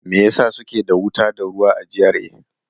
Me yasa suke da wuta da ruwa a GRA?